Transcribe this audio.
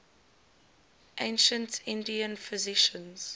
ancient indian physicians